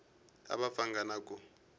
a va pfanga na ku